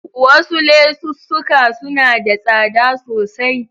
Wasu lesussuka suna da tsada sosai.